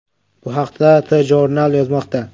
Bu haqda TJournal yozmoqda .